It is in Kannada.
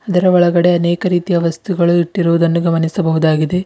ಇದರ ಒಳಗಡೆ ಅನೇಕ ರೀತಿಯ ವಸ್ತುಗಳು ಇಟ್ಟಿರುವುದನ್ನು ಗಮನಿಸಬಹುದಾಗಿದೆ.